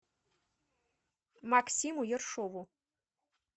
максиму ершову